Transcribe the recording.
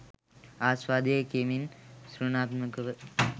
ආස්වාදය කෙමෙන් සෘණාත්මකව